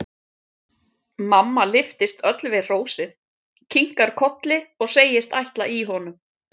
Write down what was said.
Mamma lyftist öll við hrósið, kinkar kolli og segist ætla í honum.